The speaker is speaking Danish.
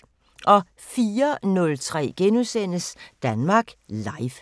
04:03: Danmark Live *